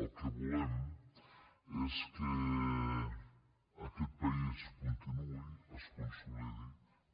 el que volem és que aquest país continuï es consolidi